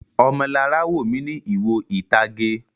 Ọmọlará wò mí ní ìwo ìtage.